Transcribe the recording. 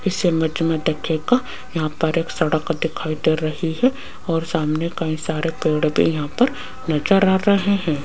इस इमेज में देखिएगा यहां पर एक सड़क दिखाई दे रही है और सामने कई सारे पेड़ भी यहां पर नजर आ रहे हैं।